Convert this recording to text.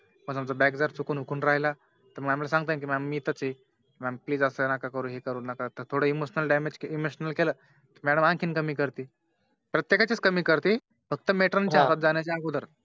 पण Back जर चुकून विकून राहिला तर Mam सांगता येईल mam मी इथेच आहे Mam please असं नका करू हे नका करू थोडं Emotional damage केले Emotional केले तर Madam आणखी कमी करतील प्रत्यकाने कमी करतील फक्त Matern च्या हातात जाणाया अगोदर